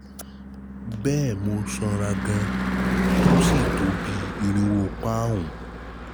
bẹ́ẹ̀ni mo sanra gan-an tó sí tó bí i irinwó pọ́nùn